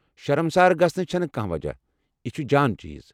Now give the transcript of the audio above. شرمسار گژھنٕچ چھنہٕ كانہہ وجہہ ، یہِ چھُ جان چیز ۔